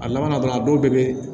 A labanna dɔrɔn a dɔw bɛɛ bɛ